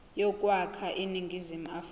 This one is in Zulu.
yokwakha iningizimu afrika